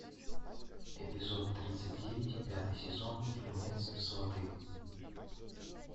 эпизод тридцать девять пятый сезон фильмец сваты